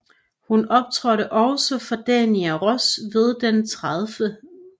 Hun optrådte også for Diana Ross ved den 30